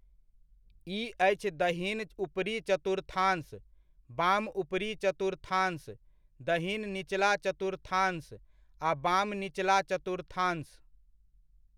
ई अछि दहिन ऊपरी चतुर्थांश, बाम ऊपरी चतुर्थांश, दहिन निचला चतुर्थांश आ बाम निचला चतुर्थांश।